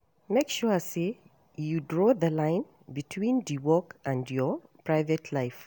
Make sure say you draw the line between di work and your private life